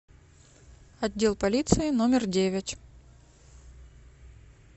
отдел полиции номер девять